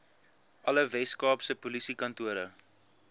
alle weskaapse polisiekantore